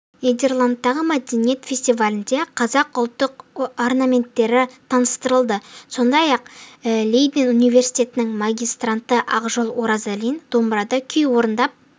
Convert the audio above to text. нидерландтағы мәдениет фестивалінде қазақ ұлттық орнаменттері таныстырылды сондай-ақ лейден университетінің магистранты ақжол оразалин дамбырады күй орындап